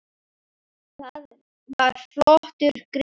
Það var flottur gripur.